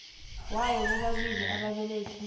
yabo bobabili ababelethi